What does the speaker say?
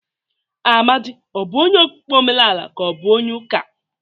Amadị ọ bụ onye okpukpere omenala ka onye ụka?